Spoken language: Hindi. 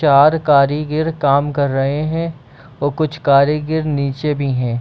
चार करिगिर काम कर रहे हैं और कुछ करिगिर नीचे भी हैं।